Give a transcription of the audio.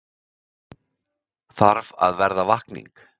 Þarf að verða vakning